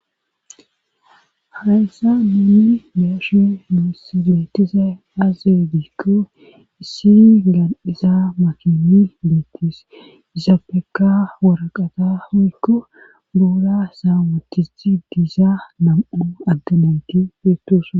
hayssa nun beashe nus beetiazay aaze giikko issi gamiza makini beettis izaapeka woraqata hoykko buura sa'n wotithi diizaa nam'u adde nayti beetosa